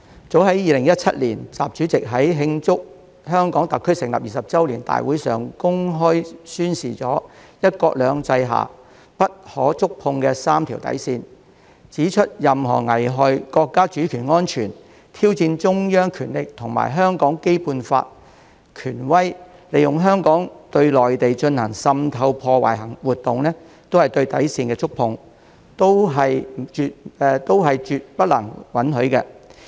早在2017年，習主席在慶祝香港特區成立20周年大會上公開宣示了"一國兩制"下不可觸碰的"三條底線"，指出任何危害國家主權安全、挑戰中央權力和香港《基本法》權威、利用香港對內地進行滲透破壞的活動，都是對底線的觸碰，都是絕不能允許的。